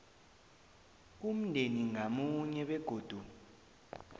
umndeni ngamunye begodu